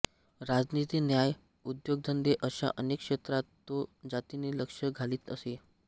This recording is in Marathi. राजनीती न्याय उद्योगधंदे अशा अनेक क्षेत्रात तो जातीने लक्ष घालीत असे